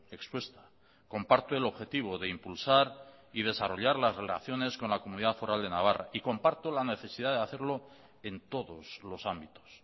expuesta comparto el objetivo de impulsar y desarrollar las relaciones con la comunidad foral de navarra y comparto la necesidad de hacerlo en todos los ámbitos